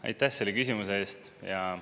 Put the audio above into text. Aitäh selle küsimuse eest!